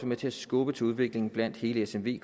med til at skubbe til udviklingen blandt hele smv